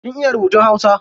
Kin iya rubutun hausa?